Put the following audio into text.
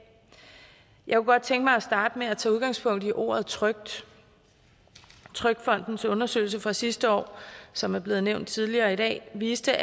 jeg kunne godt tænke mig at starte med at tage udgangspunkt i ordet trygt trygfondens undersøgelse fra sidste år som er blevet nævnt tidligere i dag viste